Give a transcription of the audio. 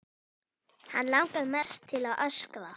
Hann langar mest til að öskra.